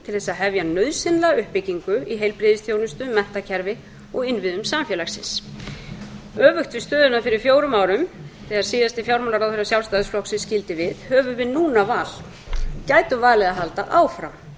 þess að hefja nauðsynlega uppbyggingu í heilbrigðisþjónustu menntakerfi og innviðum samfélagsins öfugt við stöðuna fyrir fjórum árum þegar síðasti fjármálaráðherra sjálfstæðisflokksins skildi við höfum við núna val gætum valið að halda áfram gætum